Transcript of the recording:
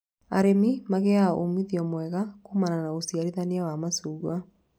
Arĩmi magĩaga umithio mwega kumana na ũciarithania wa macungwa